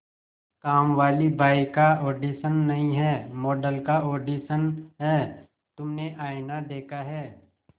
कामवाली बाई का ऑडिशन नहीं है मॉडल का ऑडिशन है तुमने आईना देखा है